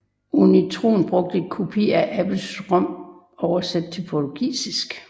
Unitron brugte en kopi af Apples ROM oversat til portugisisk